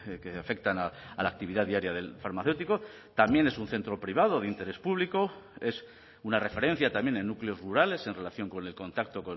que afectan a la actividad diaria del farmacéutico también es un centro privado de interés público es una referencia también en núcleos rurales en relación con el contacto